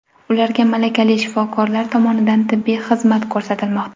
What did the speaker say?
Ularga malakali shifokorlar tomonidan tibbiy xizmat ko‘rsatilmoqda.